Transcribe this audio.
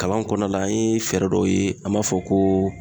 Kalan kɔnɔna la an ye fɛɛrɛ dɔw ye an b'a fɔ ko